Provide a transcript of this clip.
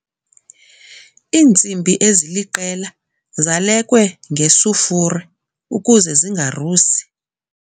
Iintsimbi eziliqela zalekwe ngesufure ukuze zingarusi.